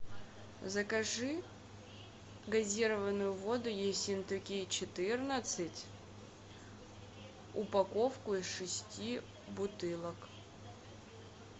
закажи газированную воду ессентуки четырнадцать упаковку из шести бутылок